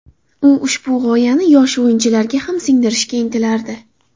U ushbu g‘oyani yosh o‘yinchilarga ham singdirishga intilardi.